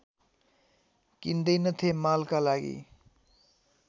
किन्दैनथे मालका लागि